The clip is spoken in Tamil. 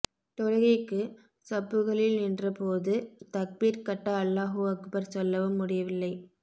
தொழுகைக்கு ஸப்புகளில் நின்ற போது தக்பீர் கட்ட அல்லாஹுஅக்பர் சொல்லவும் முடியவில்லை